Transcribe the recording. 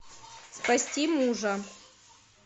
спасти мужа